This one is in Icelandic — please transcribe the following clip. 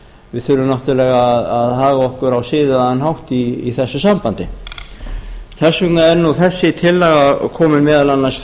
við þurfum náttúrlega að haga okkur á siðaðan hátt í þessu sambandi þess vegna er þessi tillaga komin meðal annars